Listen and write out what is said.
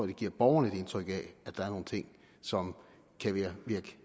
det giver borgerne et indtryk af at der er nogle ting som kan virke